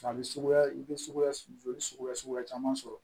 A bɛ suguya i bɛ suguya joli suguya suguya caman sɔrɔ